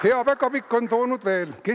Hea päkapikk on toonud veel midagi.